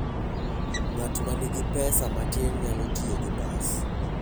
Ng'at ma nigi pesa matin nyalo tiyo gi bas.